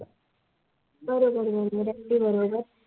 बरोबर म्हणालात अगदी बरोबर